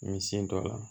N sen don a la